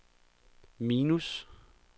minus